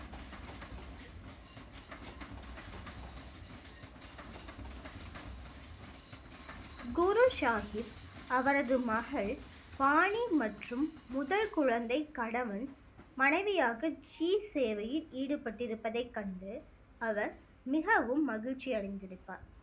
குரு சாஹிப் அவரது மகள் பானி மற்றும் முதல் குழந்தை கணவன் மனைவியாக ஜீ சேவையில் ஈடுபட்டு இருப்பதை கண்டு அவர் மிகவும் மகிழ்ச்சி அடைந்திருப்பார்